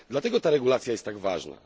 Dlatego ta regulacja jest tak ważna.